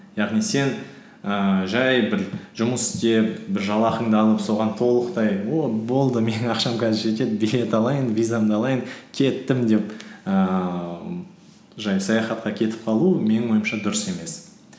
яғни сен ііі жай бір жұмыс істеп бір жалақыңды алып соған толықтай о болды менің ақшам қазір жетеді билет алайын визамды алайын кеттім деп ііі жай саяхатқа кетіп қалу менің ойымша дұрыс емес